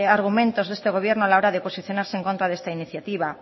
argumentos de este gobierno a la hora de posicionarse en contra de esta iniciativa